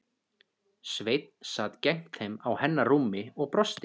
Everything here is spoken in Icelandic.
Sveinn sat gegnt þeim á hennar rúmi og brosti.